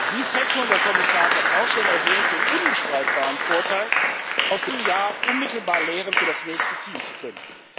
Dies hätte und der Kommissar hat das auch schon erwähnt den unbestreitbaren Vorteil, aus dem einen Jahr unmittelbar Lehren für das nächste ziehen zu können.